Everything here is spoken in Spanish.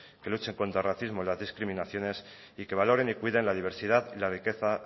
que luchen contra el racismo y las discriminaciones y que valoren y cuiden la diversidad y la riqueza